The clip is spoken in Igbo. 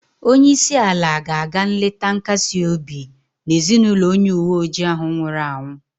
Onye isi ala ga-aga nleta nkasi obi na ezinụlọ onye uwe ojii ahụ nwụrụ anwụ